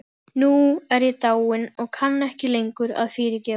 Nú er ég dáin og kann ekki lengur að fyrirgefa.